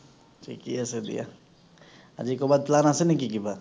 থিকে আছে দিয়া। আজি কৰবাত plan আছে নেকি কিবা?